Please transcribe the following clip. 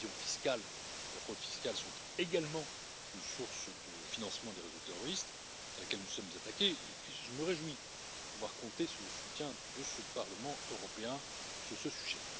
L'évasion fiscale et la fraude fiscale sont également une source de financement des réseaux terroristes à laquelle nous nous sommes attaqués, et je me réjouis de pouvoir compter sur le soutien de ce Parlement européen sur ce sujet.